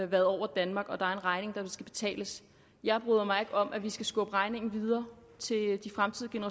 været over danmark og at der er en regning der skal betales jeg bryder mig ikke om at vi skal skubbe regningen videre til de fremtidige